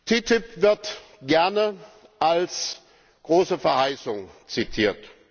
TTIP wird gerne als große Verheißung zitiert.